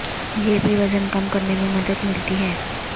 یہ بھی وزن کم کرنے میں مدد ملتی ہے